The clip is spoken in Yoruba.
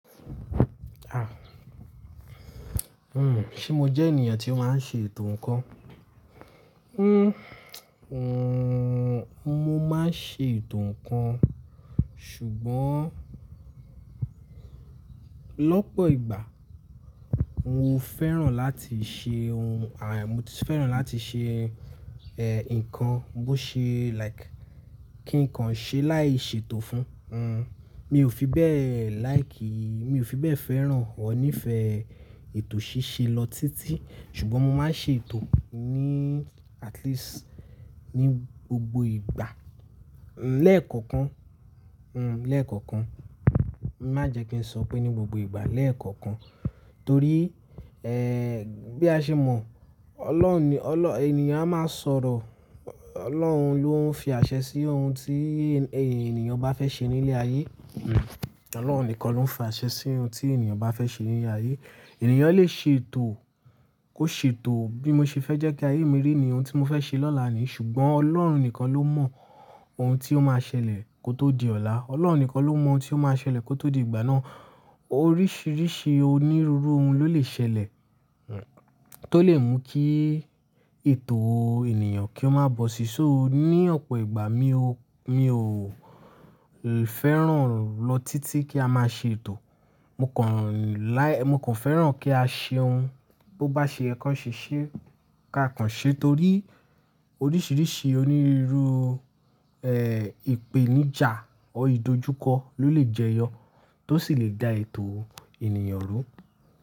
Ah! Hmm, ṣe mo jẹ́ ènìyàn tí ó máa ń ṣe ètò nǹkan? Hmm, mo máa ń ṣe ètò nǹkan, ṣùgbọ́n lọ́pọ̀ ìgbà mo fẹ́ràn láti ṣe ohun, à, mo ti fẹ́ràn láti ṣe, ẹ́, nǹkan bó ṣe like kí nǹkan ṣi láì ṣe ètò fún un. Mi ò fi bẹ́ẹ̀ like, mi ò fi bẹ́ẹ̀ fẹ́ràn ọr ní ìfẹ́ ètò ṣíṣe lọ títí. Ṣùgbọ́n mo máa ń ṣe ètò ni at least ní gbogbo ìgbà. Lẹ́ẹ̀koọ̀kan, hmm, lẹ́ẹ̀koọ̀kan. Má jẹ kí n sọ pé ní gbogbo ìgbà, lẹ́ẹ̀koọ̀kan. Torí, ẹ́, bí a ṣe mọ̀, Ọlọ́run ni, Ọlọ́-- ènìyàn a máa sọ̀rọ̀, Ọlọ́run ló ń fi àṣẹ sí ohun tí ènìyàn bá fẹ́ ṣe ní ilé ayé. Ọlọ́run nìkan ló ń fi àṣẹ sí ohun tí ènìyàn bá fẹ́ ṣe ní ilé ayé. Ẹ̀nìyàn lè ṣe ètò, kó ṣe ètò bí mo ṣe fẹ́ jẹ́ kí ayé mi rí nìyi ohun ti mo fẹ́ ṣe lọ́la ni, ṣùgbọ́n Ọlọ́run nìkan ló mọ ohun tí ó máa ṣẹlẹ̀ kó tó di ọ̀la. Ọlọ́run nìkan ló mọ ohun tí ó máa ṣẹlẹ̀ kó tó di ìgbà náà. Oríṣìíríṣìí onírúurú ohun ló lè ṣẹlẹ̀, tó lè mú kí ètò ènìyàn kí ó má bọ́ sí. So ní ọ̀pọ̀ ìgbà mi ò, mi ò fẹ́ràn lọ títí kí a má ṣe ètò. Mo kàn láí, mo kàn fẹ́ràn kí á ṣe ohun bó bá ṣe yẹ́ kàn ṣe ṣe ká kàn ṣe torí oríṣìíríṣìí onírúruu, ẹ́, ìpèníjà ọ́ ìdojúkọ ló lè jẹyọ tó sì lè dá ètò ènìyàn rú.